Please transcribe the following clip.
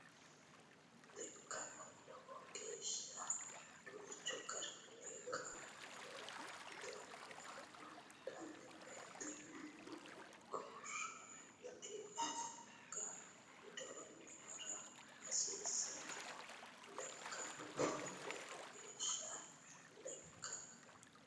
Lekkaano Lowo geeshsha danchu garinni kaameelu doogo aana hadhanno woyte guraydi anga widoonni ha ra hasiissanno Lekkaano Lowo geeshsha Lekkaano.